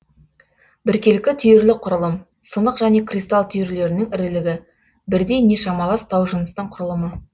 біркелкі түйірлік құрылым сынық және кристалл түйірлерінің ірілігі бірдей не шамалас таужыныстың құрылымы